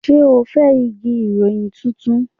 Ṣé o fẹ́ igi ìfọyín tuntun?